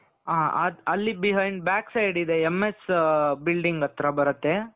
ಹ ಅಲ್ಲಿ behind backside ಇದೆ M.S building ಹತ್ತ್ರ ಬರುತ್ತೆ .